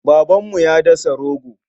Babanmu ya dasa rogo.